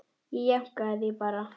Ég jánkaði því bara.